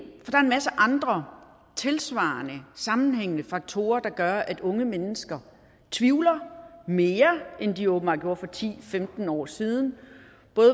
masse andre tilsvarende sammenhængende faktorer der gør at unge mennesker tvivler mere end de åbenbart gjorde for ti til femten år siden